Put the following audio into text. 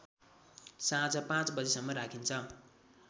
साँझ ५ बजेसम्म राखिन्छ